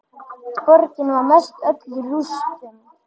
Borgin var mestöll í rústum.